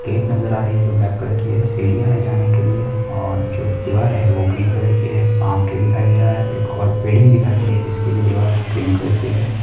Gate नजर आ रहे हैं जो ब्लैक कलर के हैं। सीढ़ियाँ हैं जाने के लिए और जो दीवार है वो ग्रीन कलर की है पाम ट्रीय दिखाई दे रहा है एक और बिल्डिंग दिखाई दे रही हैं जिसकी भी दीवार ग्रीन कलर की है।